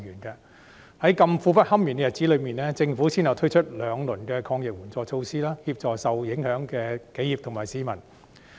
在這麼苦不堪言的日子裏，政府先後推出兩輪抗疫援助措施，協助受影響的企業和市民。